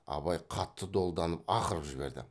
абай қатты долданып ақырып жіберді